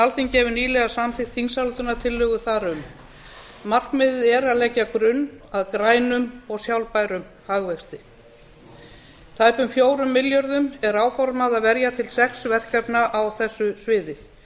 alþingi hefur nýlega samþykkt þingsályktunartillögu þar um markmiðið er að leggja grunn að grænum og sjálfbærum hagvexti tæpum fjórum milljörðum er áformað að verja til sex verkefna á þessu sviði